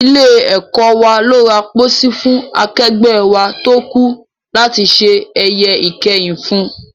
Ilé-ẹ̀kọ́ wa ló ra póósí fún akẹgbẹ́ wa tó kú láti ṣe ẹ̀yẹ ìkẹyìn fún